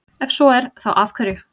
Ef svo er, þá af hverju?